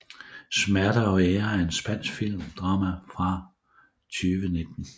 Smerte og ære er en spansk drama film fra 2019